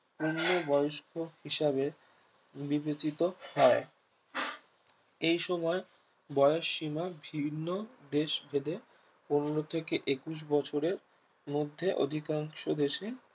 পূর্ণবয়স্ক হিসাবে বিবেচিত হয় এইসময় বয়সীমা ভিন্ন দেশভেদে পনেরো থেকে একুশ বছরের মধ্যে অধিকাংশ দেশে